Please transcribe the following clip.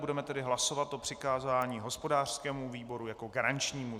Budeme tedy hlasovat o přikázání hospodářskému výboru jako garančnímu.